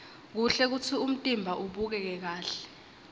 kuhle kutsi umtimba ubukeke kahle